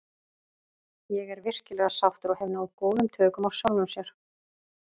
Ég er virkilega sáttur og hef náð góðum tökum á sjálfum sér.